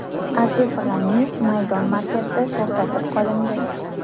Aziz G‘aniyev maydon markazida to‘xtatib qolindi.